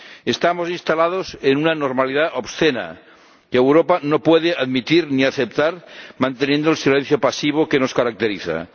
Estamos instalados en una normalidad obscena que Europa no puede admitir ni aceptar, manteniendo el silencio pasivo que nos caracteriza.